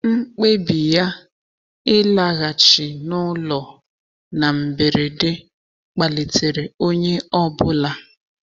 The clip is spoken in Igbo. Mkpebi ya ịlaghachi n'ụlọ na mberede kpalitere onye ọ bụla.